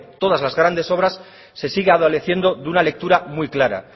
todas la grandes obras se sigue adoleciendo de una lectura muy clara